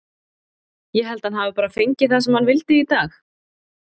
Ég held að hann hafi bara fengið það sem hann vildi í dag.